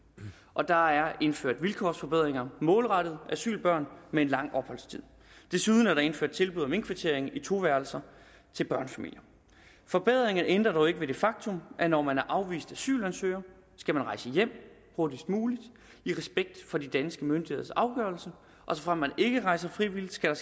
og der er indført vilkårsforbedringer målrettet asylbørn med en lang opholdstid desuden er der indført tilbud om indkvartering i to værelser til børnefamilier forbedringer ændrer dog ikke ved det faktum at når man er afvist asylansøger skal man rejse hjem hurtigst muligt i respekt for de danske myndigheders afgørelse og såfremt man ikke hjemrejser frivilligt sker